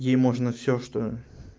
ей можно всё что